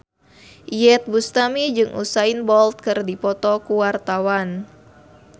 Iyeth Bustami jeung Usain Bolt keur dipoto ku wartawan